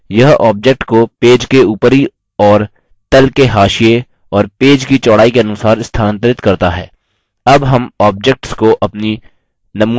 यह object को page के ऊपरी और तल के हाशिये और पेज की चौड़ाई के अनुसार स्थानांतरित करता है